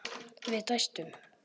Við dæstum.